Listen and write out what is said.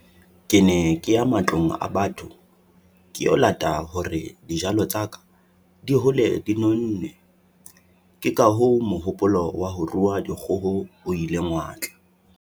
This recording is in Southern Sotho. Ke ne ke ya matlong a batho ke o lata hore dijalo tsa ka di hole di nonne. Ke ka moo mohopolo wa ho rua dikgoho o ileng wa tla.